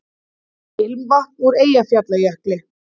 Ilmvatn úr Eyjafjallajökli